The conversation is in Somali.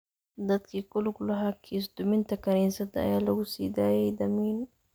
Dadkii ku lug lahaa kiis duminta kaniisadda ayaa lagu sii daayay damiin.